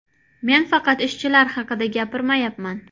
Men faqat ishchilar haqida gapirmayapman.